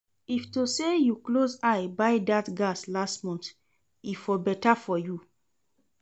If to say you close eye buy that gas last month, e for better for you